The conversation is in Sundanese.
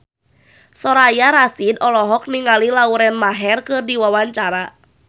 Soraya Rasyid olohok ningali Lauren Maher keur diwawancara